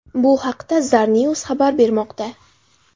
Bu haqda Zarnews xabar bermoqda .